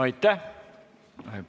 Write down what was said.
Aitäh!